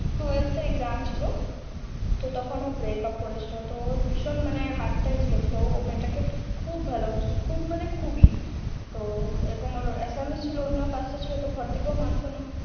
twelve আর exam ছিল তো তখন ও break up করেছিল তো ওর ভীষণ মানে ও মেয়ে টা কে খুব ভালোবাসতো খুব বলতে খুবই তো ওর